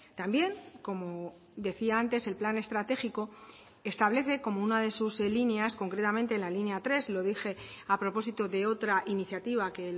también como decía antes el plan estratégico establece como una de sus líneas concretamente en la línea tres lo dije a propósito de otra iniciativa que